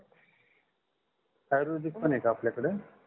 आयुर्वेदिक पण आहे का आपल्याकड